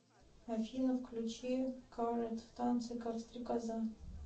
афина включи карат в танце как стрекоза